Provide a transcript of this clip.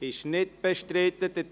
– Es ist nicht bestritten.